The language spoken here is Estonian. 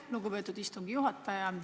Lugupeetud istungi juhataja!